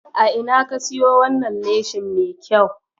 A ina ka siyo wannan leshin mai kyau?